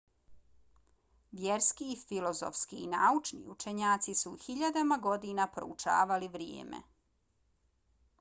vjerski filozofski i naučni učenjaci su hiljadama godina proučavali vrijeme